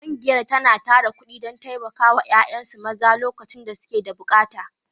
Ƙungiya tana tara kuɗi don taimaka wa ’yan’uwansu maza lokacin da suke da bukata.